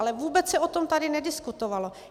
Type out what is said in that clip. Ale vůbec se o tom tady nediskutovalo.